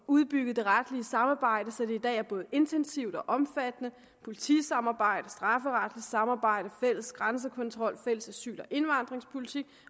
udbygget det retlige samarbejde så det i dag både er intensivt og omfattende politisamarbejdet det strafferetlige samarbejde fælles grænsekontrol fælles asyl og indvandringspolitik